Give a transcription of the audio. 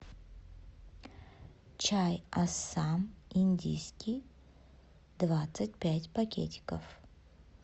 чай ассам индийский двадцать пять пакетиков